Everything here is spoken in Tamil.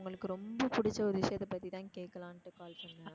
உங்களுக்கு ரொம்ப பிடிச்ச ஒரு விஷயத்த பத்தி தான் கேக்கலாண்டு call பண்ணேன்.